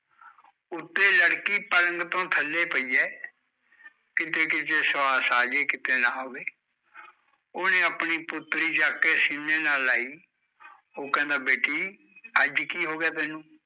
ਉੱਤੇ ਲੜਕੀ ਪਲੰਗ ਤੋਂ ਥੱਲੇ ਪਈ ਐ ਕਿਤੇ ਕਿਤੇ ਸਵਾਸ ਆਜੇ ਕਿਤੇ ਨਾ ਆਵੇ ਉਹਨੇ ਆਪਣੀ ਪੁੱਤਰੀ ਚੱਕ ਕੇ ਸੀਨੇ ਨਾਲ਼ ਲਾਈ ਉਹ ਕਹਿੰਦਾ ਬੇਟੀ, ਅੱਜ ਕੀ ਹੋਗਿਆ ਤੈਨੂ